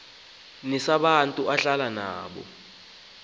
nesabantu ahlala nabo